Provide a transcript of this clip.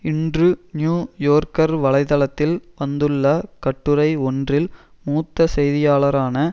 இன்று New Yorker வலை தளத்தில் வந்துள்ள கட்டுரை ஒன்றில் மூத்த செய்தியாளரான